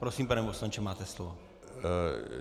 Prosím, pane poslanče, máte slovo.